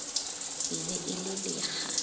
e be e le lekga